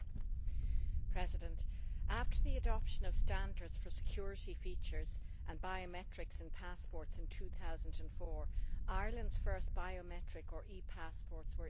Mr President, after the adoption of standards for security features and biometrics in passports in 2004, Ireland's first biometric passports, or e passports, were issued in